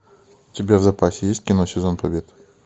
у тебя в запасе есть кино сезон побед